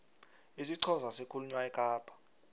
isixhosa sikhulunywa ekapa